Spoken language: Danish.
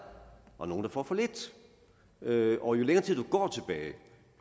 og nogle der får for lidt og jo længere tid du går tilbage